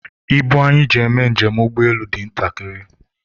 ibu anyị ji eme njem ụgbọelu dị ntakịrị